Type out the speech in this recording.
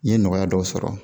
N ye nɔgɔya dɔw sɔrɔ